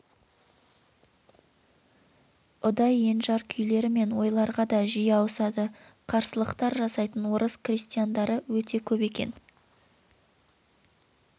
ұдай енжар күйлері мен ойларға да жиі ауысады қарсылықтар жасайтын орыс крестьяндары өте көп екен